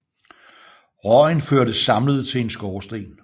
Røgen førtes samlet til en skorsten